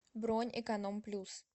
бронь эконом плюс